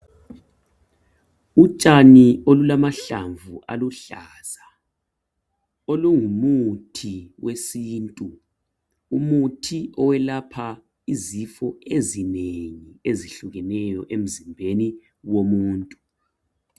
Utshani olulamahlamvu aluhlaza olungumuthi wesintu umuthi oyelapha ezifo ezinengi ezihlukeneyo emzimbeni womuntu